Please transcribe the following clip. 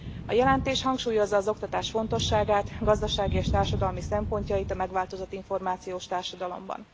A jelentés hangsúlyozza az oktatás fontosságát, gazdasági és társadalmi szempontjait a megváltozott információs társadalomban.